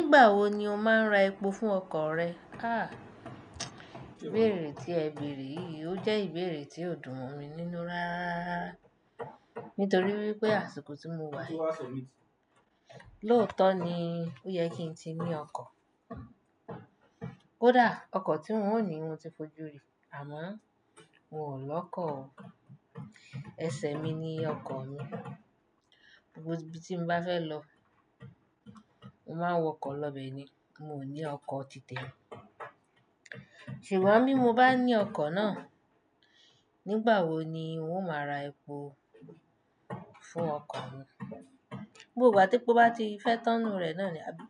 Nígbà wo ni o máa ń ra epo fún ọkọ̀ rẹ? Ah! Ìbéèrè tí ẹ bèèrè yìí, ó jẹ́ ìbéèrè tí ó dùn mi nínú ráráá, nítorí wípé àsìkò tí mo wà yìí, lóòótọ́ ni ó yẹ kí n ti ní ọkọ̀. Kodáa, ọkọ̀ tí ń ò ní mo ti fojú rí, àmọ́ n ò lọ́kọ̀ o. Esẹ̀ mi ni ọkọ̀ mi. Gbogbo ibi tí mo bá fẹ́ lọ, mo máa ń wọkọ̀ lọbẹ̀ ni. Mo ò ní ọkọ̀ titẹmi. Ṣùgbọ́n bí mo bá ní ọkọ̀ náà, nígbà wo ni n ó máa ra epo fún ọkọ̀ mi? Gbogbo gba tepo bá ti fẹ́ tán nu rẹ̀ náà ni, àbí?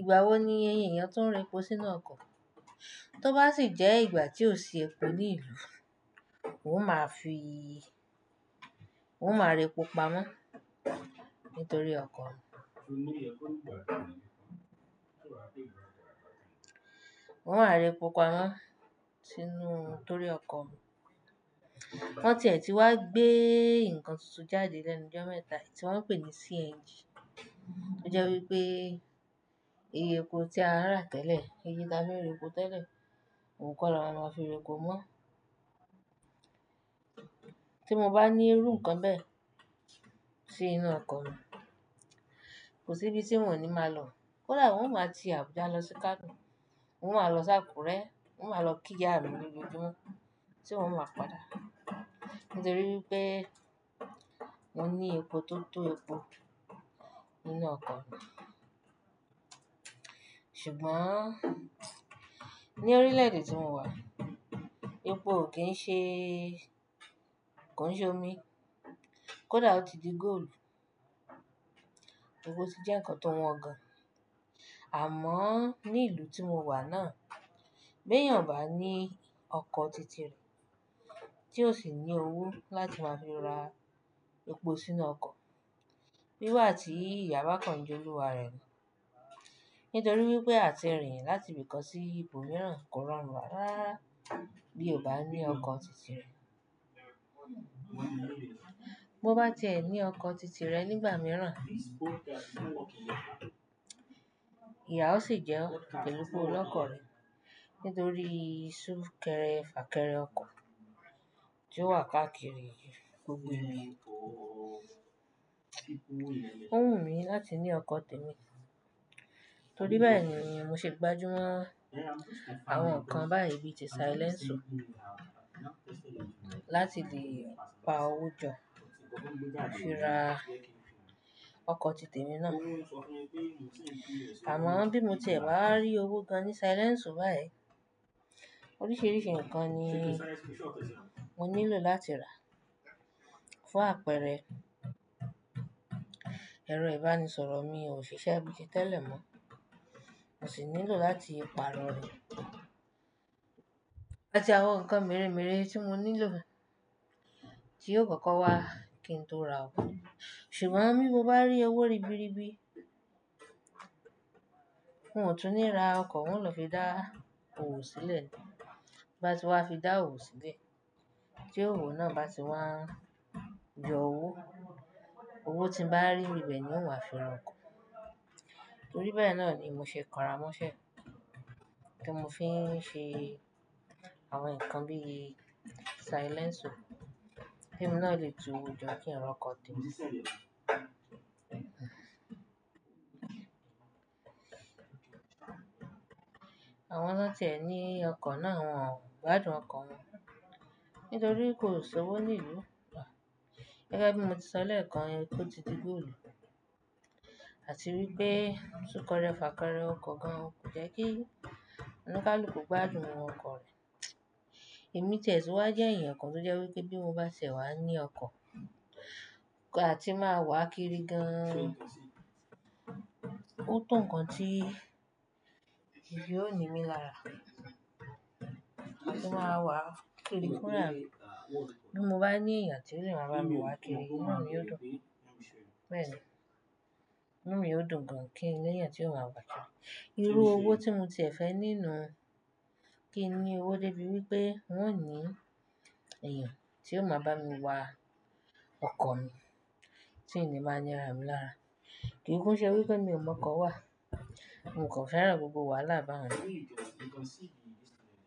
Ìgbà wo ni ẹyẹyàn tu ń ra epo sínú ọkọ̀? Tó bá sì jẹ́ ìgbà tí ò sí epo ní ìlú, n ó máa fi, n ó máa ra epo pamọ́ nítorí ọkọ̀ mi. N ó máa ra epo pamọ́ sínú torí ọkọ̀ mi. Wọ́n ti ẹ̀ ti wá gbé ǹkan tuntun jáde lenu jo mẹ́ta yi, tí wọ́n ń pè ní CNG. Ó jẹ́ wípé iye epo tí a ń rà tẹ́lẹ̀, iye tí a fi ń ra epo tẹ́lẹ̀, òun kọ́ la máa fi ra epo mọ́. Tí mo bá ní irú ǹkan bẹ́ẹ̀ sí inú ọkọ̀ mi, kò sí ibi tí mò ní máa lọ. Koda, n ó máa ti Abuja lọ si Kano, n ó máa lọ s'ákúrẹ́, n ó máa lọ kí ìyá mi ní lojoojumo tí n ó máa padà. Nítorí wípé mo ní epo tó tó epo, nínú ọkọ̀ mi. Ṣùgbọ́n ní orílẹ̀-èdè tí mo wà, epo ò kí ń ṣe, kò ń ṣe omi. Kódà ó ti di góòlù. Epo ti jẹ́ ǹkan tó wọn gan. Àmọ́ ní ìlú tí mo wà náà, bi eyàn bá ní ọkọ̀ titẹ rẹ̀, tí ó sì ní owó láti máa fi ra epo sínú ọkọ̀, bíi igbati ìyá bákan jẹ́ olúwa rẹ̀ ni. Nítorí wípé àti rìn láti ibi kan sí ibòmíràn kò rọrùn rárárara bí o bá ní ọkọ̀ titẹ rẹ. Bo bá ti ẹ̀ ní ọkọ̀ titi rẹ̀ nígbà mìíràn, ìyá ó sì jẹ́ ò pelu pe olókọ̀ rẹ̀ nítorí sún kẹrẹ fà kẹrẹ ọkọ̀ tí ó wà káàkiri. Ó wù mí láti ní ọkọ̀ tèmi. Torí bẹ́ẹ̀ ni mi ṣe gbájú mọ́ àwọn ǹkan báyi bíi ti silènṣù láti le pa owó jọ láti fi ra ọkọ̀ titẹ mi náà. Àmọ́ bí mo ti ẹ̀ bawá rí owó gan ní silènṣù báyi, oríṣiríṣi ǹkan ni mo nílò láti rà fún àpẹẹrẹ, ẹ̀rọ ìbánisọ̀rọ̀ mi ò ṣiṣẹ́ bíi tẹ́lẹ̀ mọ́. Mo sì nílò láti pààrọ̀ rẹ̀, àti àwọn ǹkan merèmeré tí mo nílò, tí yóò kọ́kọ́ wá kí n tó ra ọkọ̀. Ṣùgbọ́n bí mo bá rí owó ribiribi, n ò tún ní ra ọkọ̀, n ó lọ fi dá owó sílẹ̀ ni. Bá ti wá fi dá owó sílẹ̀, tí owó náà bá ti wán yọ owó, owó tí ń bá rí n bibe ni n ó wá fi ra ọkọ̀. Torí bẹ́ẹ̀ náà ni mo ṣe kọra mọ́ṣẹ́ kí mo fi ń ṣe àwọn ǹkan bí i silènṣù kí mo náà lè tu owó jọ kí n ra ọkọ̀ tèmi. Àwọn tón ti ẹ̀ ní ọkọ̀ náà wọ́n ò gbádùn ọkọ̀ wọn nítorí kò sọ owó ní ìlú. Gẹ́gẹ́ bí mo ti sọ lẹ́ẹ̀kan, epo ti di góòlù, àti wípé sún kẹrẹ fà kẹrẹ ọkọ̀ gan, kò jẹ́ kí ọnikaluku gbádùn ọkọ̀ rẹ̀. Èmi tẹ̀ tun wá jẹ́ ẹ̀yàn kan tó jẹ́ wípé bí mo bá tie wá ní ọkọ̀, àti máa wà kiri gan an. Ó to ǹkan tí èyí ó ní mi lára. Àti máa wà kiri kún rárá. Bí mo bá ní èèyàn tí ó lè máa bá mi wà kéré, inú mi ó dùn. Bẹ́ẹ̀ ni. Inú mi ó dùn gan kin léyan tí ó máa wà kiri. Irú owó tí mo ti ẹ̀ fẹ́ ní nuu kín ní owó dé bi wípé n ó ní èèyàn tí ó máa bá mi wà ọkọ̀ mi tí ìní máa ń ní rà mi lára. Kì í kún ṣe wípé mi ò mọ ọkọ̀ wà. Mo kò fẹ́ràn gbogbo wàhálà bá wọn.